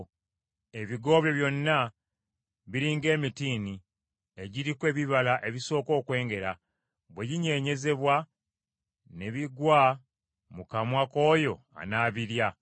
Ebigo byo byonna biri ng’emitiini egiriko ebibala ebisooka okwengera; bwe ginyeenyezebwa ne bigwa mu kamwa k’oyo anaabirya.